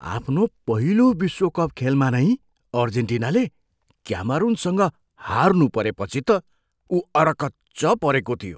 आफ्नो पहिलो विश्वकप खेलमा नै अर्जेन्टिनाले क्यामरुनसँग हार्नुपरेपछि त ऊ अरकच्च परेको थियो।